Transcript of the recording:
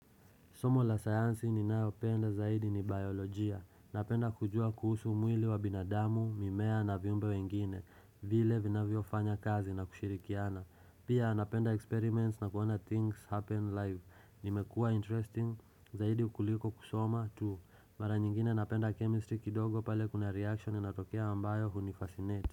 Somo la sayansi ni nayopenda zaidi ni biolojia. Napenda kujua kuhusu umwili wa binadamu, mimea na viumbe wengine, vile vinavyo fanya kazi na kushirikiana. Pia napenda experiments na kuona things happen live. Nimekua interesting zaidi ukuliko kusoma tu. Mara nyingine napenda chemistry kidogo pale kuna reaction inatokea ambayo hunifasinate.